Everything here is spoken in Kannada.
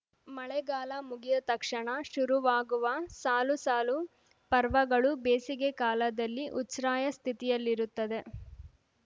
ಮಳೆಗಾಲ ಮುಗಿಯ ತಕ್ಷಣ ಶುರುವಾಗುವ ಸಾಲು ಸಾಲು ಪರ್ವಗಳು ಬೇಸಿಗೆ ಕಾಲದಲ್ಲಿ ಉಚ್ಛ್ರಾಯ ಸ್ಥಿತಿಯಲ್ಲಿರುತ್ತದೆ